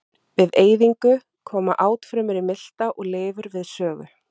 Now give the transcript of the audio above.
Við eyðingu koma átfrumur í milta og lifur við sögu.